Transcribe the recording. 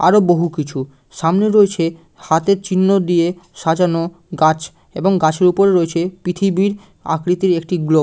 আরো বহু কিছু। সামনে রয়েছে হাতের চিহ্ণ দিয়ে সাজানো গাছ এবং গাছের ওপরে রয়েছে পৃথিবীর আকৃতির একটি গ্লোব ।